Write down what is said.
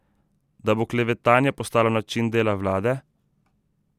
Da bo klevetanje postalo način dela vlade?